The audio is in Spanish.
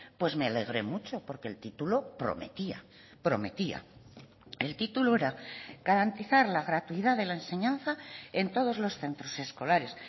pues me alegré mucho porque el título prometía prometía el título era garantizar la gratuidad de la enseñanza en todos los centros escolares